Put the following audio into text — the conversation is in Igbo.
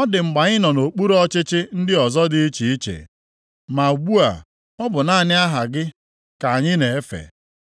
ọ dị mgbe anyị nọ nʼokpuru ọchịchị ndị ọzọ dị iche iche, ma ugbu a, ọ bụ naanị aha gị ka anyị na-efe.